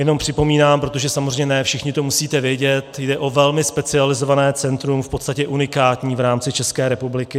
Jenom připomínám, protože samozřejmě ne všichni to musíte vědět, jde o velmi specializované centrum, v podstatě unikátní v rámci České republiky.